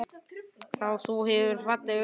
Þú hefur falleg augu.